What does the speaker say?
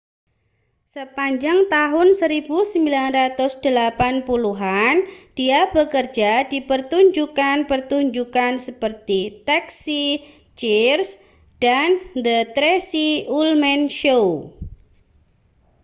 sepanjang tahun 1980-an dia bekerja di pertunjukan-pertunjukan seperti taxi cheers dan the tracey ullman show